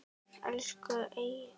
Elsku Egill.